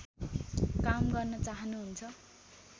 काम गर्न चाहनुहुन्छ